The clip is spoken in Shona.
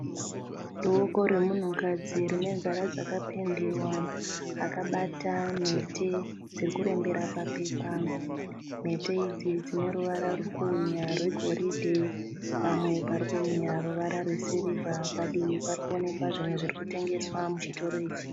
Boko remunhukadzi rinenzara dzakapendewa. Akabata mhete dzIrikurembera papepa. Mhete idzi dzineruvara rwurikuhwinya rwegoridhe, pamwe parikuhwinya ruvara rwesirivha. Padivi parikuonekwa zvinhu zvirikutengeswa muchitoro ichi.